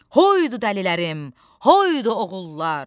Hoydu dəlilərim, hoydu oğullar.